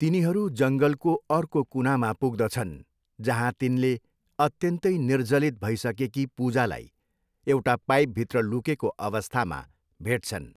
तिनीहरू जङ्गलको अर्को कुनामा पुग्दछन् जहाँ तिनले अत्यन्तै निर्जलित भइसकेकी पूजालाई एउटा पाइपभित्र लुकेको अवस्थामा भेट्छन्।